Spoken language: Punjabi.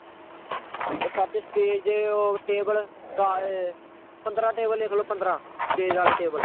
ਉਹ ਸੱਚ stage ਓਹ table ਦਸ, ਪੰਦਰਾਂ table ਲਿਖਲੋ ਪੰਦਰਾਂ stage ਆਲੇ table